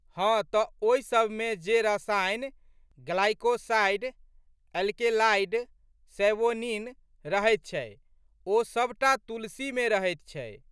हँ तऽ ओहिसबमे जे रसायन ग्लाइकोसाइड.अल्केलाइड, सैवोनिन रहैत छै ओ सब टा तुलसीमे रहैत छै।